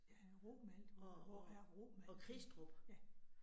Ja, Romalt, hvor hvor er Romalt henne? Ja